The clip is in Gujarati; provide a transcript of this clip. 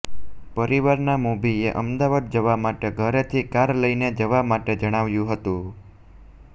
પરિવારના મોભીએ અમદાવાદ જવા માટે ઘરેથી કાર લઈને જવા માટે જણાવ્યું હતું